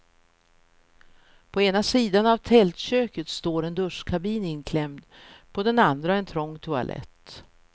På ena sidan av tältköket står en duschkabin inklämd, på den andra en trång toalett.